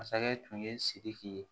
Masakɛ tun ye sidiki ye